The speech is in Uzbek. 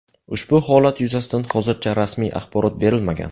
Ushbu holat yuzasidan hozircha rasmiy axborot berilmagan.